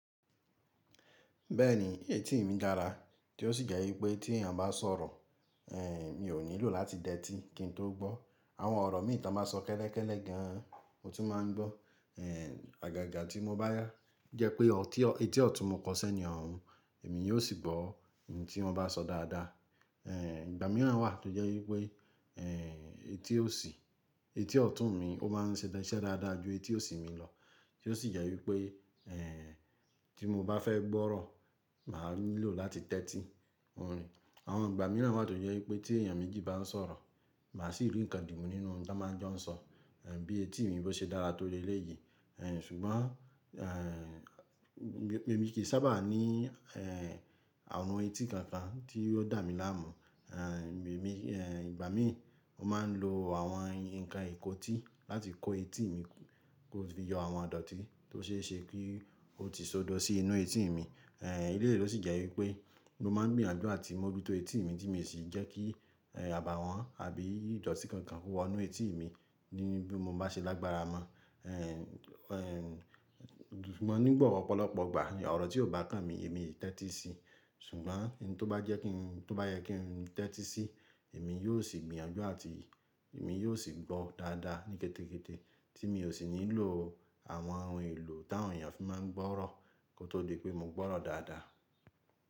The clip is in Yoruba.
Bẹ́ẹ̀ni, etí mi dára tí ó sì jẹ́ wípé tí èèyàn bá sọ̀rọ̀, ehn, mi ò nílò láti dẹ́ti kí n tó gbọ́. Àwọn ọ̀rọ̀ mí toba sọ kẹ́lẹ́kẹ́lẹ́ gan, mo tí máa ń gbó. Ehn, àgàgà tí mo bá yá jẹ́ pé ọtí ọ etí ọ̀tún mo kọ iṣẹ́ ni ọ̀ún, èmi yóò sì gbó ohun tí wọ́n bá sọ dáadáa. Ehn, ìgbà mìíràn wà tó jẹ́ wípé, ehn, etí òsì etí ọ̀tún mi ó máa ń se iṣẹ́ dáadáa ju etí òsì mi lọ, tí ó sì jẹ́ wípé, ehn, tí mo bá fẹ́ gbọ́rọ̀, màá nílò láti tẹ́tí. Àwọn ìgbà mìíràn wà tó jẹ́ wípé tí èèyàn méjì bá ń sọ̀rọ̀, màá sì rí ǹkan dimú nínú ohun tí wọ́n máa ń jọ́ sọ, ehn, bí etí mi bó ṣe dára tó le léyìí. Ehn, ṣùgbọ́n, ehn, èmi kì í sábà ní, ehn, àrun etí kankan tí yóò dà mí láàmú. Ehn, èmi ehn, ìgbà mí, mo máa ń lo àwọn ǹkan ìkótí láti kó etí mi kó fi yọ àwọn idọ̀tí tó ṣe é ṣe kí ó ti sọdọ̀ sí inú etí mi. Ehn, eléyìí ló sì jẹ́ wípé mo máa ń gbìyànjú àti mó ju tó etí mi tí èmi sì jẹ́ kí, ehn, àbàwọ́n àbí ìdọ̀tí kankan kó wọ inú etí mi ní bí mo bá ṣe lágbára mọ́. Ehn, ehn, ṣùgbọ́n nígbà ọ̀pọ̀lọpọ̀ ìgbà, ọ̀rọ̀ tí ò bá kàn mi, èmi ì tẹ́tí sí i. Ṣùgbọ́n ohun tó bá jẹ́ kí n tó bá yẹ kí n tẹ́tí sí i, èmi yóò sì gbìyànjú àti èmi yóò sì gbó dáadáa ní kété kété, tí mi ò sì nílò àwọn ohun èlò tí àwọn èèyàn fi máa ń gbọ́rọ̀ kó tó di pé mo gbọ́rọ̀ dáadáa.